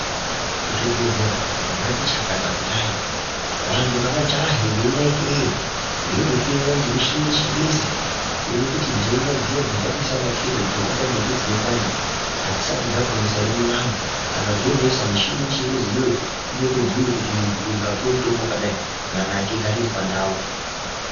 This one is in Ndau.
Zvibhedhlera zvazvati chakata kudai, vantu ngavajahe veinekeyo, veindohloiwa ngemichini yechingezi, kuone kuti ntenda dziya dzakaita seana khenza dzobata ndombi dzine ndani adzisati dzaakunesa ere .Kana dzonesa mishini yechingezi iyoyo, inotobhuya kuti muntu uyu ngaaapuwe mitombo yakadai, kuti nyama yake igare iri pandau.